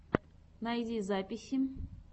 найди записи